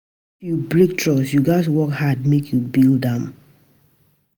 If you break trust, you gats work hard make you build am back.